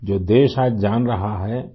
جو ملک آج جان رہا ہے